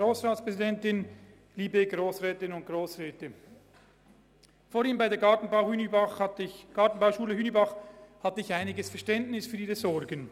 Als über die Gartenbauschule Hünibach gesprochen wurde, hatte ich einiges Verständnis für Ihre Sorgen.